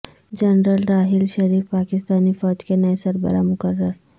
general Raheel Sharif Pakistani فوج کے نئے سربراہ مقرر